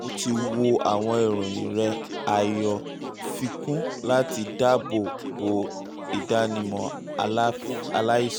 mo ti wo àwọn ìròyìn rẹ a yọ fikún láti dáàbò bo ìdánimọ aláìsàn